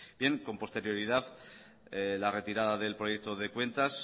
bien con posterioridad la retirada del proyecto de cuentas